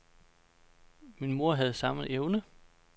Min mor havde samme evne.